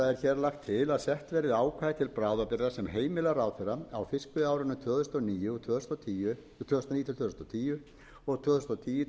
sett verði ákvæði til bráðabirgða sem heimilar ráðherra á fiskveiðiárunum tvö þúsund og níu tvö þúsund og tíu og tvö þúsund og tíu tvö þúsund og